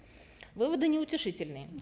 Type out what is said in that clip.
выводы неутешительные